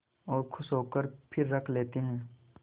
और खुश होकर फिर रख लेते हैं